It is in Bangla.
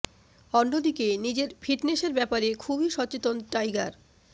অন্য দিকে নিজের ফিটনেসের ব্যপারে খুবই সচেতন টাইগার